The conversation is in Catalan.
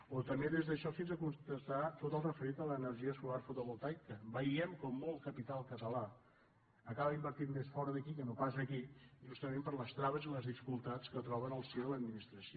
o també des d’això fins a constatar tot el referit a l’ener·gia solar fotovoltaica veiem com molt capital català acaba invertint més fora d’aquí que no pas aquí jus·tament per les traves i les dificultats que troben al si de l’administració